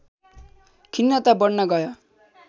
खिन्नता बढ्न गयो